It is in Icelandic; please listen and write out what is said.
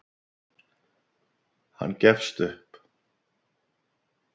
Hann gefst upp.